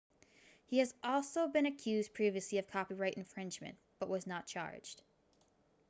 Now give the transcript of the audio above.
he has also been accused previously of copyright infringement but was not charged